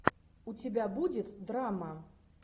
у тебя будет драма